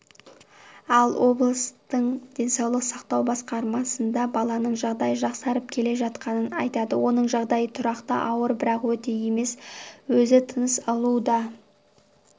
ал облысытың денсаулық сақтау басқармасында баланың жағдайы жақсарып келе жатқанын айтады оның жағдайы тұрақты ауыр бірақ өте емес өзі тыныс алуда